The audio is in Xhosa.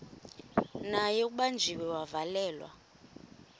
naye ubanjiwe wavalelwa